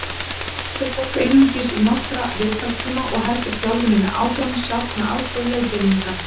Stundum fer fólk einungis í nokkra viðtalstíma og heldur þjálfuninni áfram sjálft með aðstoð leiðbeininga.